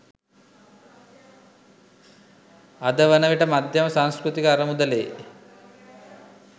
අද වන විට මධ්‍යම සංස්කෘතික අරමුදලේ